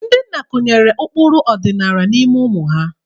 Ndị nna kụnyere ụkpụrụ na ọdịnala n'ime ụmụ ha.